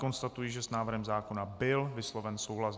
Konstatuji, že s návrhem zákona byl vysloven souhlas.